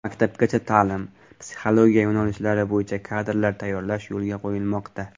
Maktabgacha ta’lim, psixologiya yo‘nalishlari bo‘yicha kadrlar tayyorlash yo‘lga qo‘yilmoqda.